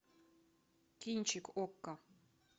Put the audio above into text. кинчик окко